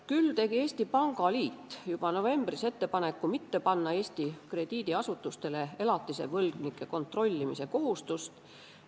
Küll tegi Eesti Pangaliit juba novembris ettepaneku mitte panna Eesti krediidiasutustele elatisvõlgade kontrollimise kohustust.